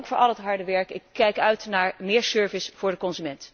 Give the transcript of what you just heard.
Dank voor al het harde werk, ik kijk uit naar meer service voor de consument.